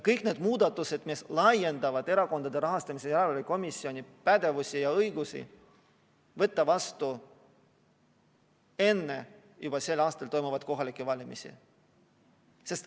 Kõik need muudatused, mis laiendavad Erakondade Rahastamise Järelevalve Komisjoni pädevust ja õigusi, tuleks võtta vastu juba enne sel aastal toimuvaid kohalikke valimisi.